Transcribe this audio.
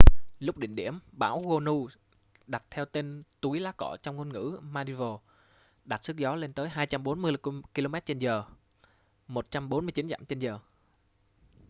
lúc đỉnh điểm bão gonu đặt tên theo túi lá cọ trong ngôn ngữ maldives đạt sức gió lên tới 240 kilomet trên giờ 149 dặm trên giờ